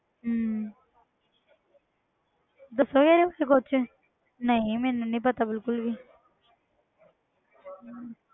ਹਮ ਦੱਸੋਗੇ ਇਹਦੇ ਬਾਰੇ ਕੁਛ ਨਹੀਂ ਮੈਨੂੰ ਨੀ ਪਤਾ ਬਿਲਕੁਲ ਵੀ ਹਮ